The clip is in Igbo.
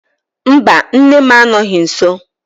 Mba, nne m anọghị nsọ